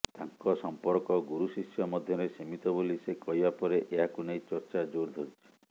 ତାଙ୍କ ସମ୍ପର୍କ ଗୁରୁଶିଷ୍ୟ ମଧ୍ୟରେ ସୀମିତ ବୋଲି ସେ କହିବା ପରେ ଏହାକୁ ନେଇ ଚର୍ଚ୍ଚା ଜୋର ଧରିଛି